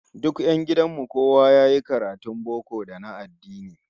Duk 'yan gidan mu kowa yayi karatun boko da na addini